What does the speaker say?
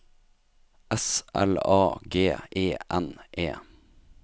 S L A G E N E